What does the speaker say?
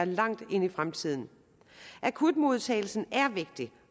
langt ind i fremtiden akutmodtagelsen er vigtig